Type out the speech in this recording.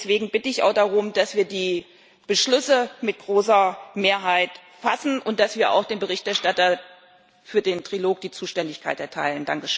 Deswegen bitte ich auch darum, dass wir die Beschlüsse mit großer Mehrheit fassen und dass wir auch dem Berichterstatter für den Trilog die Zuständigkeit erteilen.